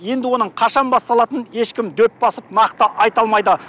енді оның қашан басталатынын ешкім дөп басып нақты айта алмайды